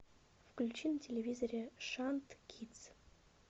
включи на телевизоре шант кидс